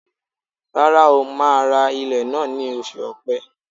Rárá o, màá ra ilẹ̀ náà ní oṣù ọ̀pẹ.